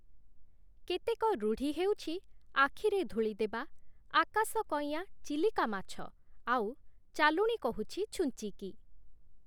କେତେକ ରୁଢ଼ି ହେଉଛି 'ଆଖିରେ ଧୂଳିଦେବା', 'ଆକାଶ କଇଁଆ ଚିଲିକା ମାଛ', ଆଉ 'ଚାଲୁଣି କହୁଛି ଛୁଞ୍ଚିକି'